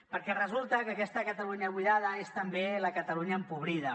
perquè resulta que aquesta catalunya buidada és també la catalunya empobrida